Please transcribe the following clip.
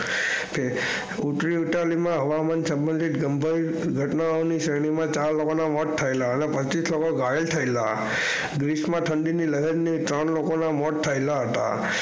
હવામાન થયેલા ઘટનાઓના સંભવિત ચાર લોકો ના મોત થયેલા પચીસ માણસો ઘાયલો દેશ માં ઠંડી ની લહેર ત્રણ લોકો ના મોત થયેલા હતા.